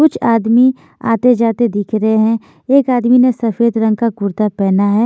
कुछ आदमी आते-जाते दिख रहे हैं एक आदमी ने सफेद रंग का कुर्ता पहना है।